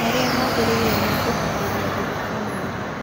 Marĩa magĩrĩire ma kũharĩrĩa gũthika mwĩrĩ